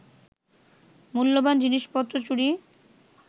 মূল্যবান জিনিসপত্র চুরি